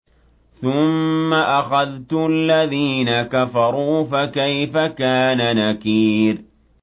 ثُمَّ أَخَذْتُ الَّذِينَ كَفَرُوا ۖ فَكَيْفَ كَانَ نَكِيرِ